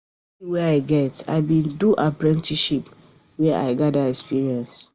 For di skill wey I get, I bin do apprenticeship where I gada experience.